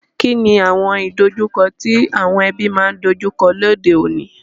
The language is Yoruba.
Kíni àwon ìdojúko ti àwon ebí ma n dojúko lóde ọ̀ní?